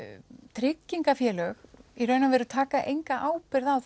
tryggingarfélög í raun og veru taka enga ábyrgð á